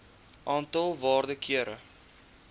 aantal waarde kere